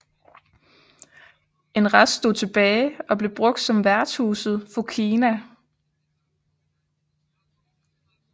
En rest stod tilbage og blev brugt som værtshuset Fokina